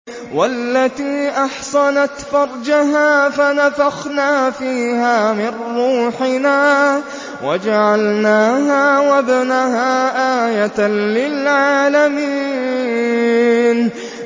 وَالَّتِي أَحْصَنَتْ فَرْجَهَا فَنَفَخْنَا فِيهَا مِن رُّوحِنَا وَجَعَلْنَاهَا وَابْنَهَا آيَةً لِّلْعَالَمِينَ